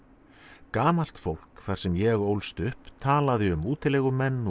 gamalt fólk þar sem ég ólst upp talaði um útilegumenn og